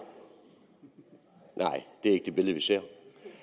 ikke det billede vi ser